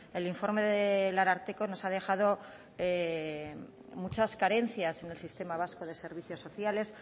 el informe del ararteko nos ha dejado muchas carencias en el sistema vasco de servicios sociales